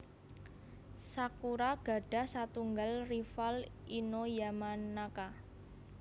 Sakura gadah satunggal rival Ino Yamanaka